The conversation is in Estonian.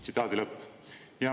Tsitaadi lõpp.